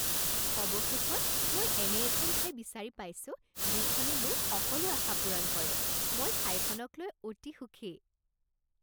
অৱশেষত মই এনে এখন ঠাই বিচাৰি পাইছো যিখনে মোৰ সকলো আশা পূৰণ কৰে, মই ঠাইখনক লৈ অতি সুখী।